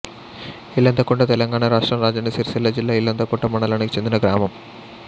ఇల్లంతకుంట తెలంగాణ రాష్ట్రం రాజన్న సిరిసిల్ల జిల్లా ఇల్లంతకుంట మండలానికి చెందిన గ్రామం